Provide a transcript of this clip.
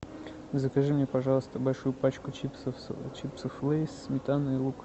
закажи мне пожалуйста большую пачку чипсов лейс сметана и лук